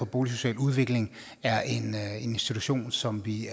boligsocial udvikling er en institution som vi